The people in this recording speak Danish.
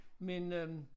Men øh